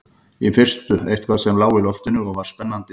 Í fyrstu eitthvað sem lá í loftinu og var spennandi og gleðilegt.